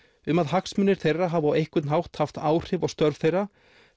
um að hagsmunir þeirra hafi á einhvern hátt haft áhrif á störf þeirra